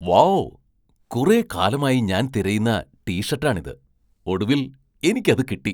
Wow ! കുറെ കാലമായി ഞാൻ തിരയുന്ന ടി ഷർട്ടാണിത്. ഒടുവിൽ എനിക്കത് കിട്ടി.